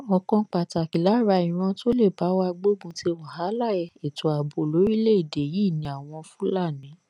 ọkan pàtàkì lára ìran tó lè bá wa gbógun ti wàhálà ètò ààbò lórílẹèdè yìí ni àwọn fúlàní